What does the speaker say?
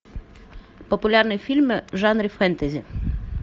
популярные фильмы в жанре фэнтези